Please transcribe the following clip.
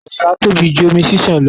Ọ̀sà tóbi jù omi ṣiṣan lọ.